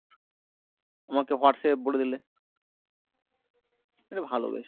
আমাকে হোয়াটস্যাপে বলে দিলে। এটা ভালো বেশ।